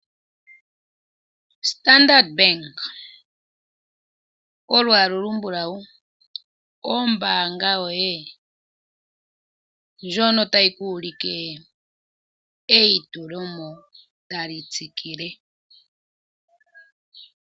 Standard bank olwala olumblawu ombanga yoye ndjono tayi ku ulike eyitulomo tali tsikile.